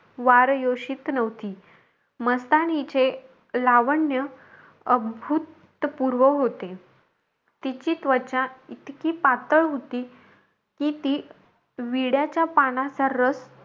वारयोषित नव्हती. मस्तानीचे लावण्य अदभूतपूर्व होते. तीची त्वचा, इतकी पातळ होती की ती विड्याच्या पानाचा रस,